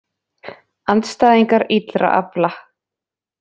Andstæðingar illra afla